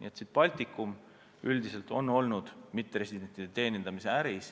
Nii et Baltikum üldiselt on olnud mitteresidentide teenindamise äris